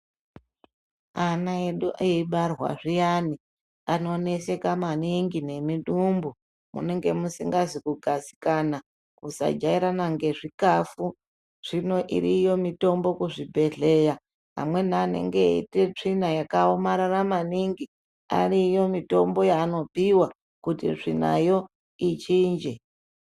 Ana edu eyibarwa zviyani ano neseka maningi ne midumbu munenge musingazi kugadzikana kusa jairana nge zvikafu zvino iriyo mitombo ku zvibhedhleya amweni anenge eiite tsvina yaka omarara maningi ariyo mitombo yaano piwa kuti tsvinayo ichinje.